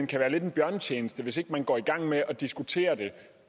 kan være lidt en bjørnetjeneste hvis ikke man går i gang med at diskutere det